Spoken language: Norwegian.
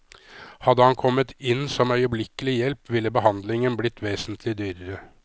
Hadde han kommet inn som øyeblikkelig hjelp, ville behandlingen blitt vesentlig dyrere.